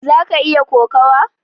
zaka iya kokawa?